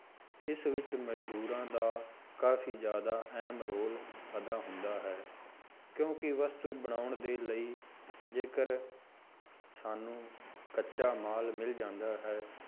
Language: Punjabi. ਇਸ ਵਿੱਚ ਮਜ਼ਦੂਰਾਂ ਦਾ ਕਾਫ਼ੀ ਜ਼ਿਆਦਾ ਅਹਿਮ ਰੋਲ ਅਦਾ ਹੁੰਦਾ ਹੈ ਕਿਉਂਕਿ ਵਸਤੂ ਬਣਾਉਣ ਦੇ ਲਈ ਜੇਕਰ ਸਾਨੂੰ ਕੱਚਾ ਮਾਲ ਮਿਲ ਜਾਂਦਾ ਹੈ,